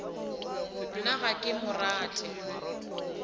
nna ga ke mo rate